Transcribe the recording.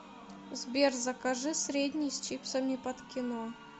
сбер закажи средний с чипсами под кино